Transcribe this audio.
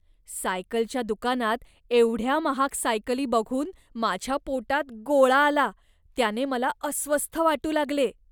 सायकलच्या दुकानात एवढ्या महाग सायकली बघून माझ्या पोटात गोळा आला. त्याने मला अस्वस्थ वाटू लागले.